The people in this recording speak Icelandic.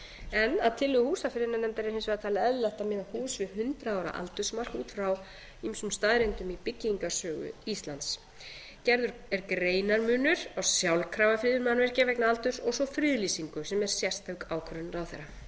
en að tillögu húsafriðunarnefndar er hins vegar talið eðlilegt að miða hús við hundrað ára aldursmark út frá mun staðreyndum í byggingarsögu íslands gerður er greinarmunur á sjálfkrafa friðun mannvirkja vegna aldurs og svo friðlýsingu sem er sérstök ákvörðun ráðherra sjöunda friðlýsing fornleifa